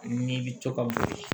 Ni bi to ka boli